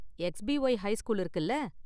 X P Y high school இருக்குல